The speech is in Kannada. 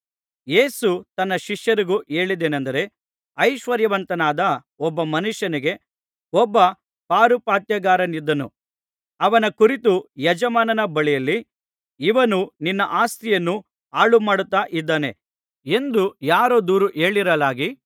ಯೇಸು ತನ್ನ ಶಿಷ್ಯರಿಗೂ ಹೇಳಿದ್ದೇನಂದರೆ ಐಶ್ವರ್ಯವಂತನಾದ ಒಬ್ಬ ಮನುಷ್ಯನಿಗೆ ಒಬ್ಬ ಪಾರುಪಾತ್ಯಗಾರನಿದ್ದನು ಅವನ ಕುರಿತು ಯಜಮಾನನ ಬಳಿಯಲ್ಲಿ ಇವನು ನಿನ್ನ ಆಸ್ತಿಯನ್ನು ಹಾಳುಮಾಡುತ್ತಾ ಇದ್ದಾನೆ ಎಂದು ಯಾರೋ ದೂರು ಹೇಳಿರಲಾಗಿ